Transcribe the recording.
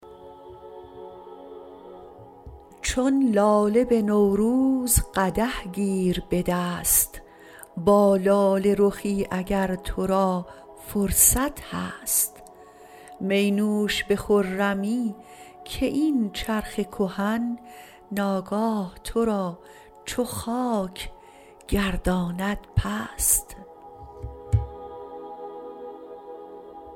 چون لاله به نوروز قدح گیر به دست با لاله رخی اگر تو را فرصت هست می نوش به خرمی که این چرخ کهن ناگاه تو را چو خاک گرداند پست